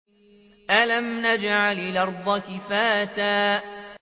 أَلَمْ نَجْعَلِ الْأَرْضَ كِفَاتًا